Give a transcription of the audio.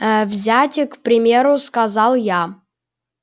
взять к примеру сказала я